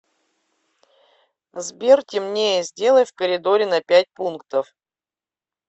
сбер темнее сделай в коридоре на пять пунктов